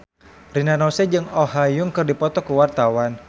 Rina Nose jeung Oh Ha Young keur dipoto ku wartawan